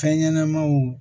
Fɛn ɲɛnɛmaw